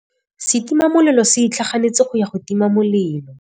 Setima molelô se itlhaganêtse go ya go tima molelô.